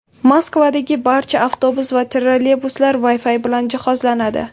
Moskvadagi barcha avtobus va trolleybuslar Wi-Fi bilan jihozlanadi.